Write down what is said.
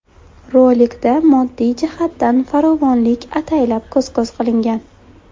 Rolikda moddiy jihatdan farovonlik ataylab ko‘z-ko‘z qilingan.